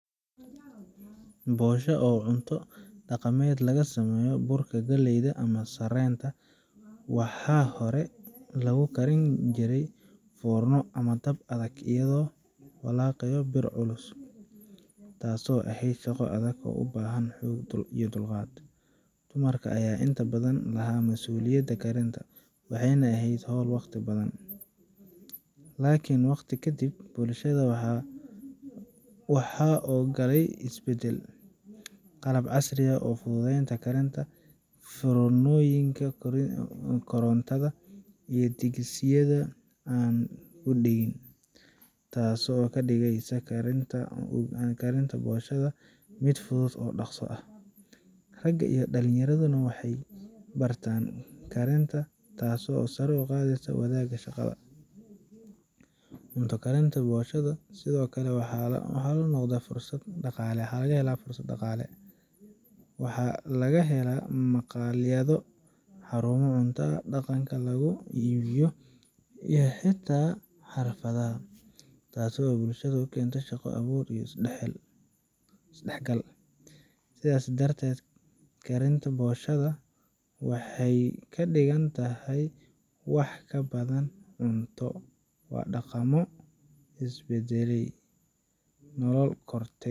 Bosho, oo cunto dhaqameed laga sameeyo burka galleyda ama sarreenka, waxaa hore loogu karin jiray foorno ama dab adag iyadoo lagu walaaqayo bir culus, taas oo ahayd shaqo adag oo u baahan xoog iyo dulqaad. Dumarka ayaa inta badan lahaa masuuliyadda karinta, waxayna ahayd hawl waqti badan. Laakiin waqti ka dib, bulshada waxaa soo galay isbeddel: qalab casri ah oo fududeeya karinta sida foornooyinka korontada iyo digsiyaal aan ku dhegin, taasoo ka dhigeysa karinta boshoda mid fudud oo dhaqso ah. Ragga iyo dhallinyaraduna hadda waxay bartaan karinta, taasoo sare u qaaday wadaagga shaqada guriga. Cunto karinta boshoda sidoo kale waxay noqotay fursad dhaqaale: waxaa laga helaa maqaayado, xarumo cuntada dhaqanka lagu iibiyo, iyo xitaa xafladaha, taasoo bulshada u keentay shaqo abuur iyo isdhexgal. Sidaas darteed, karinta boshoda maanta waxay ka dhigan tahay wax ka badan cunto waa dhaqamo isbeddelay, nolol korortay.